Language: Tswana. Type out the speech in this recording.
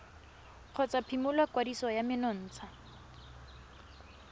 kgotsa phimola kwadiso ya menontsha